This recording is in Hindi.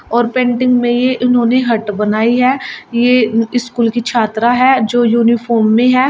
और पेंटिंग में यह उन्होंने हट बनाई है यह स्कूल की छात्रा है जो यूनिफॉर्म में है।